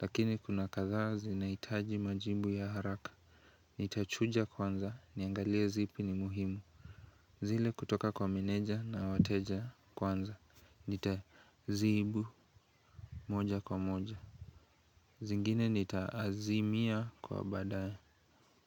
Lakini kuna kadhaa zinahitaji majibu ya haraka Nitachuja kwanza niangalie zipi ni muhimu zile kutoka kwa meneja na wateja kwanza Nitazibu moja kwa moja zingine nitaazimia kwa baadae